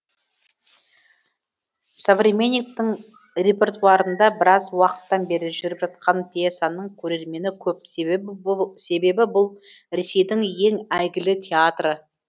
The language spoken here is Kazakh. современниктің репертуарында біраз уақыттан бері жүріп жатқан пьесаның көрермені көп себебі бұл ресейдің ең әйгілі театры